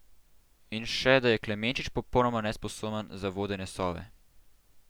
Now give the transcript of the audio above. In še, da je Klemenčič popolnoma nesposoben za vodenje Sove.